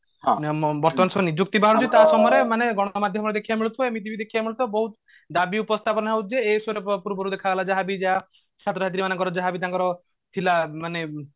ବର୍ତମାନ ଯୋଉ ନିଯୁକ୍ତି ବାହାରୁଛି ଦେଖିବାକୁ ମିଳୁଥିବ ବହୁତ ଦାବି ଉପସ୍ଥାପନ ହଉଛି ଯେ ଯାହାବି ଯାହା ଯାହାବି ତାଙ୍କର ଥିଲା ମାନେ